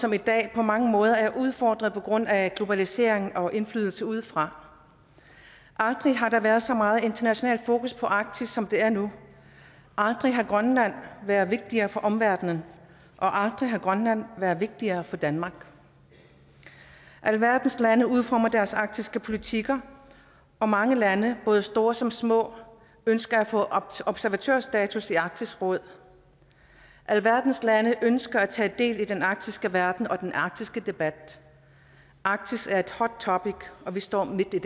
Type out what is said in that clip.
som i dag på mange måder er udfordret på grund af globaliseringen og indflydelse udefra aldrig har der været så meget internationalt fokus på arktis som der er nu aldrig har grønland været vigtigere for omverdenen og aldrig har grønland været vigtigere for danmark alverdens lande udformer deres arktiske politikker og mange lande både store som små ønsker at få observatørstatus i arktisk råd alverdens lande ønsker at tage del i den arktiske verden og den arktiske debat arktis er et hot topic og vi står midt i